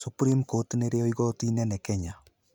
Supreme Court nĩrĩo igoti inene Kenya.